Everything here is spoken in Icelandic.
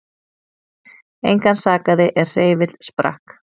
Engan sakaði er hreyfill sprakk